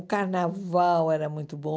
O carnaval era muito bom.